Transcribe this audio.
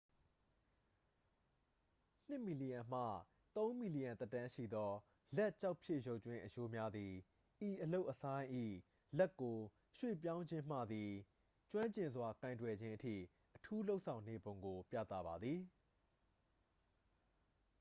နှစ်မီလီယံမှ သုံးမီလီယံသက်တမ်းရှိသော လက်ကျောက်ဖြစ်ရုပ်ကြွင်းအရိုးများသည် ဤအလုပ်အဆိုင်း၏ လက်ကို ရွှေ့ပြောင်းခြင်းမှသည် ကျွမ်းကျင်စွာကိုင်တွယ်ခြင်းအထိ အထူးလုပ်ဆောင်နေပုံကို ပြသပါသည်